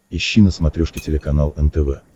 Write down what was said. ищи на смотрешке телеканал нтв